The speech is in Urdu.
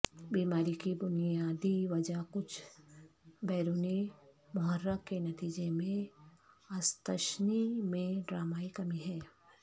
بیماری کی بنیادی وجہ کچھ بیرونی محرک کے نتیجے میں استثنی میں ڈرامائی کمی ہے